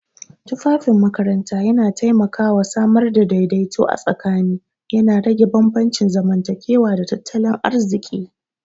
Tufafin makaranta yana taimakawa samar da daidaiton a tsakani, yana rage bambancin zamantakewa da tattalin arziki.